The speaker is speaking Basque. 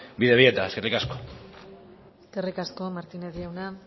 bidebieta eskerrik asko eskerrik asko martínez jauna